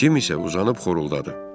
Cim isə uzanıb xoruldadı.